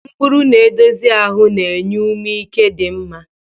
Mkpụrụ na-edozi ahụ na-enye ume ike dị mma.